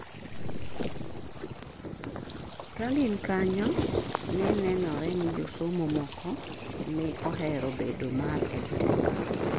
kagin kanyo ne nenore ni josomo moko ne ohero bedo mar EdTech